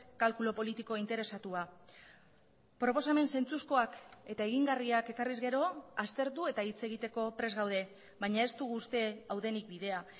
kalkulu politiko interesatua proposamen zentzuzkoak eta egingarriak ekarriz gero aztertu eta hitz egiteko prest gaude baina ez dugu uste hau denik bidea